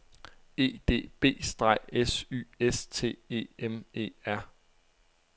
E D B - S Y S T E M E R